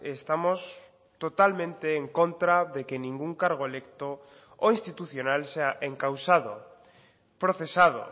estamos totalmente en contra de que ningún cargo electo o institucional sea encausado procesado